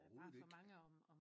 Overhovedet ikke